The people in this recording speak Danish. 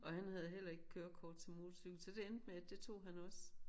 Og han havde heller ikke kørekort til motorcykel så det endte med at det tog han også